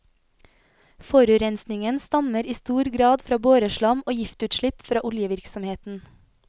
Forurensningen stammer i stor grad fra boreslam og giftutslipp fra oljevirksomheten.